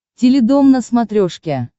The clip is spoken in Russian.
теледом на смотрешке